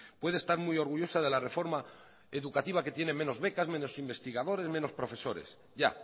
puede estar muy orgullosa de la reforma educativa que tiene menos becas menos investigadores menos profesores ya